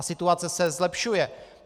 A situace se zlepšuje.